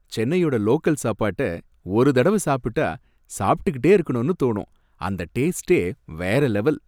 சென்னையோட லோக்கல் சாப்பாட்ட ஒரு தடவை சாப்டா சாப்பிட்டுக்கிட்டே இருக்கணும்னு தோணும். அந்த டேஸ்டே வேற லெவல்.